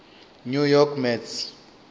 new york mets